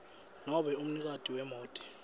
nobe umnikati wemoti